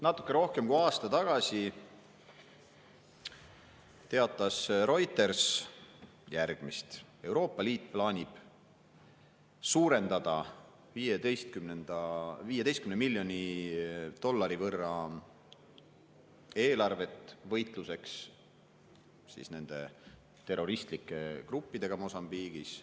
Natuke rohkem kui aasta tagasi teatas Reuters järgmist: Euroopa Liit plaanib suurendada 15 miljoni dollari võrra eelarvet võitluseks terroristlike gruppidega Mosambiigis.